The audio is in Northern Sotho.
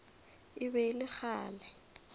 e be e le kgale